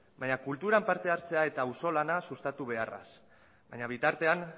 baita kulturan parte hartzea eta auzolana sustatu beharraz baina bitartean